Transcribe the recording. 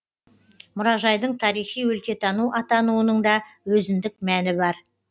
мұражайдың тарихи өлкетану атануының да өзіндік мәні бар